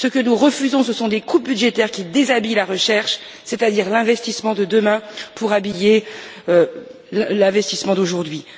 Ce que nous refusons, ce sont des coupes budgétaires qui déshabillent la recherche, c'est à dire l'investissement de demain, pour habiller l'investissement d'aujourd'hui.